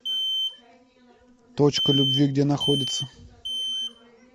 точка любви где находится